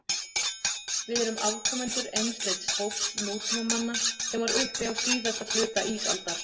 Við erum afkomendur einsleits hóps nútímamanna sem var uppi á síðasta hluta ísaldar.